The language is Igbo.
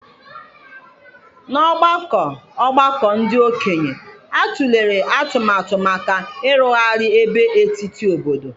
N'ọgbakọ ọgbakọ ndị okenye, a tụlere atụmatụ maka ịrụgharị ebe etiti obodo.